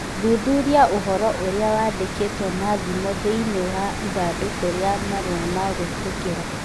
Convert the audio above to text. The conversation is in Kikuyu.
Thuthuria ũhoro ũrĩa wandĩkĩtwo na thimũ thĩinĩ wa ithandũkũ rĩa marũa ma gwĩtĩkĩra